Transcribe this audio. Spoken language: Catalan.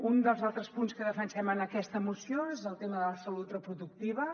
un dels altres punts que defensem en aquesta moció és el tema de la salut repro·ductiva